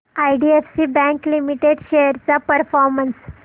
IDFC bank limited shares चा performance